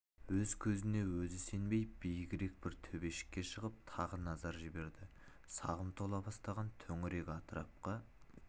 өз көзіне өзі сенбей биігірек бір төбешікке шығып тағы назар жіберді сағым тола бастаған төңірек атырапқа